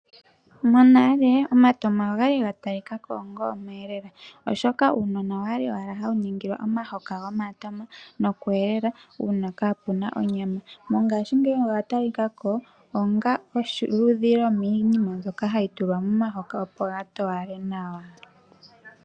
Monale omatoma ogali gatalika ko onga omweelelo, oshoka uunona owali owala hawu ningilwa omahoka gomatoma nokweelela uuna kaapuna onyama. Mongashingeyi oga talika ko onga oludhi lwomiinima mbyoka hayi tulwa momahoka opo ga towale nawa.